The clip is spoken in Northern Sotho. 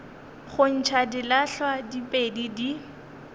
go ntšha dilahlwa diphedi di